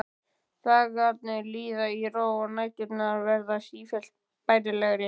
Dagarnir líða í ró og næturnar verða sífellt bærilegri.